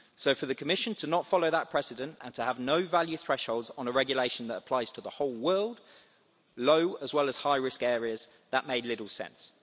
So for the Commission not to follow that precedent and to have no value thresholds on a regulation that applies to the whole world low as well as high risk areas made little sense.